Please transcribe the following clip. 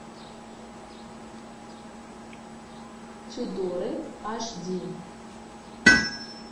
тюдоры аш ди